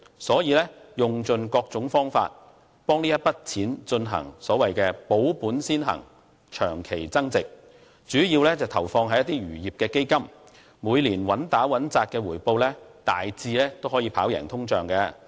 所以，他用盡各種方法為這筆錢進行"保本先行、長期增值"，主要投放在一些漁業基金，每年穩打穩扎的回報大致可以跑贏通脹。